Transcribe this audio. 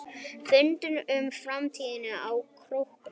Fundað um framtíð á Króknum